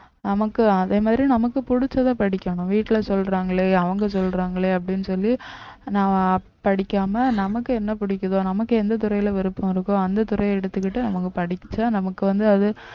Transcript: நமக்கு அதே மாதிரி நமக்கு பிடிச்சதை படிக்கணும் வீட்டுல சொல்றாங்களே அவங்க சொல்றாங்களே அப்படின்னு சொல்லி நான் படிக்காம நமக்கு என்ன பிடிக்குதோ நமக்கு எந்த துறையில விருப்பம் இருக்கோ அந்த துறையை எடுத்துக்கிட்டு அவங்க படிச்சா நமக்கு வந்து அது